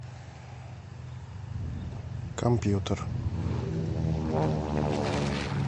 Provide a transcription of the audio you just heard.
компьютер